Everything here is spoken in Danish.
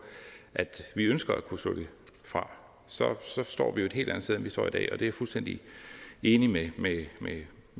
at vi ønsker at kunne slå det fra så står vi jo et helt andet sted end vi står i dag og det er jeg fuldstændig enig med